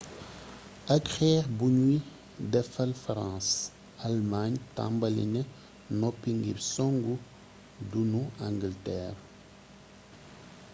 ak xeex buñuy defal farans almaañ tambali na noppi ngir soŋg duunu angalteer